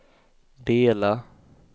dela